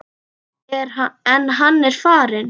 En hann er farinn.